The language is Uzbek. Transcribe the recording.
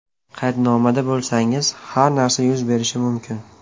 Qaydnomada bo‘lsangiz, har narsa yuz berishi mumkin.